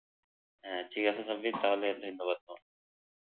হা ঠিক আছে সাব্বির তাহলে ধন্যবাদ তোমাকে